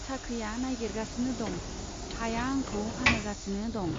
साख्रिया नागिरगासिनो दं , हाया आंखौ फानहोगासिनो दं।